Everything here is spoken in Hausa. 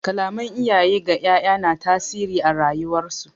Kalaman iyaye ga 'ya'ya na tasiri a rayuwar su.